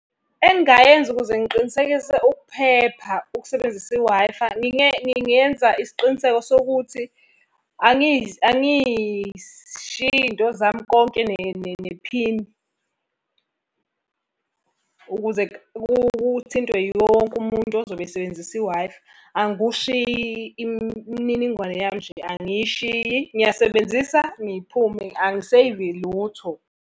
Engingayenza ukuze ngiqinisekise ukuphepha, ukusebenzisa i-Wi-Fi, ngingenza isiqiniseko sokuthi angizishiyi izinto zami konke nephini. Ukuze kuthintwe yiwo wonke umuntu ozobe esebenzisa i-Wi-Fi. Angikushiyi, imininingwane yami nje angishiyi ngiyasebenzisa ngiphume, angiseyvi lutho.